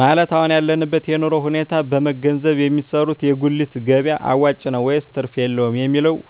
ማለት የአሁን ያለበትን የኑሮ ሁኔታ በመንገዘብ የሚሰሩት የጉሊት ገቢያ አዋጭ ነው ወይስ ትርፍ የለውም የሚለውን